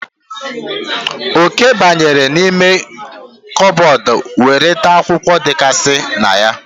Oke banyere n'ime kabọọdụ were taa akwụkwọ dịgasị na ya.